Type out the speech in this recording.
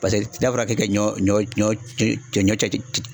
Pase n'a fɔra k'e ka ɲɔ ɲɔ ɲɔ ce cɛ ɲɔ cɛci ce